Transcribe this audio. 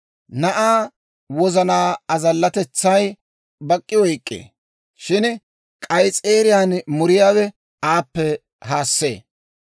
Na'aa wozanaa azallatetsay bak'k'i oyk'k'ee; shin k'ayis'eeriyaan muriyaawe aappe haassee.